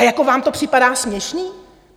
A jako vám to připadá směšné?